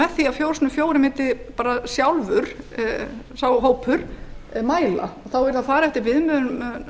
með því að fjórir sinnum fjórir sá hópur mundi sjálfur mæla þá yrði að fara eftir